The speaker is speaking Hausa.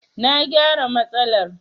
Na gyara matsalar.